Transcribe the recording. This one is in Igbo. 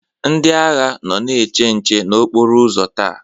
Ndị agha nọ na-eche nche n'okporo ụzọ taa.